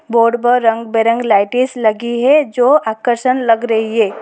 Board पर रंग बिरंग लाइटिस लगी है जो आकर्षण लग रही है।